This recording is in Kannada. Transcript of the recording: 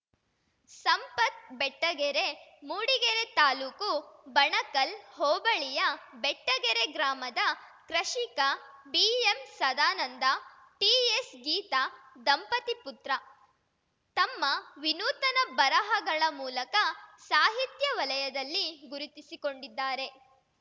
ಸಂಪತ್‌ ಬೆಟ್ಟಗೆರೆ ಮೂಡಿಗೆರೆ ತಾಲೂಕು ಬಣಕಲ್‌ ಹೋಬಳಿಯ ಬೆಟ್ಟಗೆರೆ ಗ್ರಾಮದ ಕೃಷಿಕ ಬಿಎಂ ಸದಾನಂದ ಟಿಎಸ್‌ ಗೀತಾ ದಂಪತಿ ಪುತ್ರ ತಮ್ಮ ವಿನೂತನ ಬರಹಗಳ ಮೂಲಕ ಸಾಹಿತ್ಯ ವಲಯದಲ್ಲಿ ಗುರುತಿಸಿಕೊಂಡಿದ್ದಾರೆ